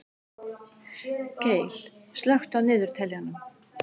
Gael, slökktu á niðurteljaranum.